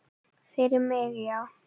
Fyrir mig, já.